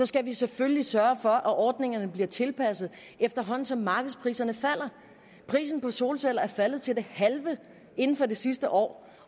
skal vi selvfølgelig sørge for at ordningerne bliver tilpasset efterhånden som markedspriserne falder prisen på solceller er faldet til det halve inden for det sidste år